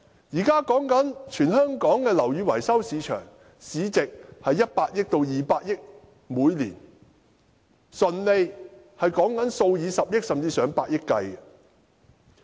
現在全香港的樓宇維修市場，每年市值為100億元至200億元，純利數以十億元甚至上百億元計。